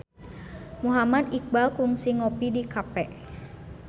Muhammad Iqbal kungsi ngopi di cafe